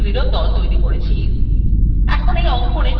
আমরা বস্তুগুলিরof দল তৈরি করেছি